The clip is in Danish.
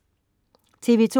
TV2: